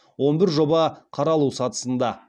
он бір жоба қаралу сатысында